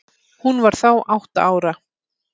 Hún var þá átta ára.